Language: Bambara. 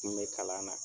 N kun be kalan na